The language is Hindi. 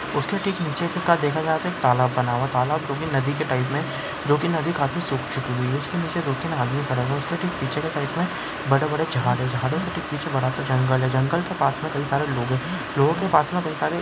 उसके ठीक नीचे देखा जाए तो तालाब बना हुआ है तालाब जो कि नदी के टाइप में है जो कि नदी काफी सुख चुकी है उसके नीचे दो तीन आदमी खड़ा हुआ है उसके ठीक पीछे के साइड में बड़े-बड़े झाड़ है झाड़ो के ठीक पीछे बड़ा-सा जंगल है जंगल के पास में कई सारे लोग लोगो के पास मे काई सारे--